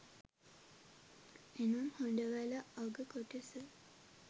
එනම් හොඬවැල අග කොටස